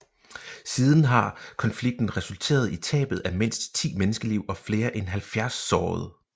Siden har konflikten resulteret i tabet af mindst 10 menneskeliv og flere end 70 sårede